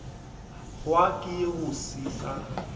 hwa ke go se sa